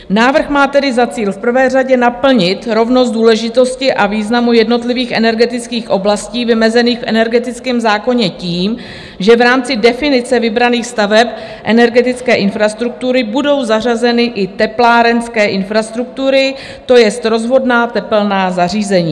Návrh má tedy za cíl v prvé řadě naplnit rovnost důležitosti a významu jednotlivých energetických oblastí vymezených v energetickém zákoně tím, že v rámci definice vybraných staveb energetické infrastruktury budou zařazeny i teplárenské infrastruktury, to jest rozvodná tepelná zařízení.